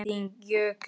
Þinn Jökull.